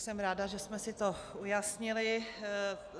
Jsem ráda, že jsme si to ujasnili.